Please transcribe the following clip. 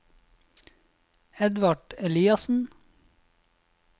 Edvard Eliassen